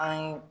An ye